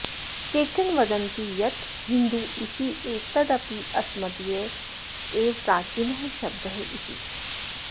केचन वदन्ति यत् हिन्दु इत्येतदपि अस्मदीयः एव प्राचीनः शब्दः इति